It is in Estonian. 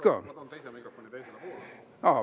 Ma toon teise mikrofoni teisele poole.